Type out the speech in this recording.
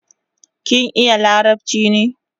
Kin iya larabchi ne?